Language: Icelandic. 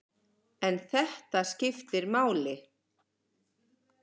En þetta skiptir máli.